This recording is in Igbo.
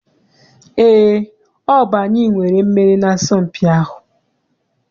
Eé, ọ bụ anyị nwere mmeri n'asọmpi ahụ.